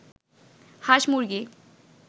হাঁস-মুরগি